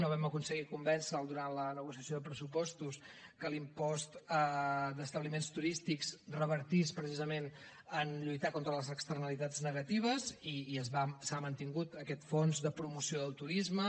no vam aconseguir convèncer lo durant la negociació de pressupostos que l’impost d’establiments turístics revertís precisament en lluitar contra les externalitats negatives i s’ha mantingut aquest fons de promoció del turisme